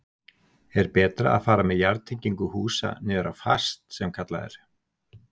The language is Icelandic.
Er betra að fara með jarðtengingu húsa niður á fast sem kallað er?